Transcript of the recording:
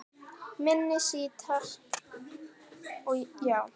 Minni sítar, já